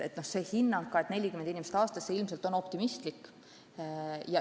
See hinnang 40 inimest aastas on ilmselt liiga optimistlik.